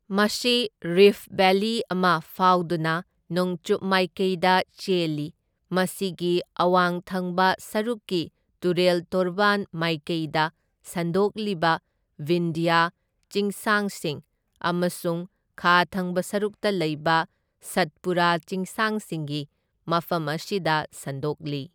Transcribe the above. ꯃꯁꯤ rift valley ꯑꯃ ꯐꯥꯎꯗꯨꯅ ꯅꯣꯡꯆꯨꯞ ꯃꯥꯏꯀꯩꯗ ꯆꯦꯜꯂꯤ, ꯃꯁꯤꯒꯤ ꯑꯋꯥꯡ ꯊꯪꯕ ꯁꯔꯨꯛꯀꯤ ꯇꯨꯔꯦꯜ ꯇꯣꯔꯕꯥꯟ ꯃꯥꯏꯀꯩꯗ ꯁꯟꯗꯣꯛꯂꯤꯕ ꯕꯤꯟꯙ꯭ꯌꯥ ꯆꯤꯡꯁꯥꯡꯁꯤꯡ ꯑꯃꯁꯨꯡ ꯈꯥ ꯊꯪꯕ ꯁꯔꯨꯛꯇ ꯂꯩꯕ ꯁꯠꯄꯨꯔꯥ ꯆꯤꯡꯁꯥꯡꯁꯤꯡꯒꯤ ꯃꯐꯝ ꯑꯁꯤꯗ ꯁꯟꯗꯣꯛꯂꯤ꯫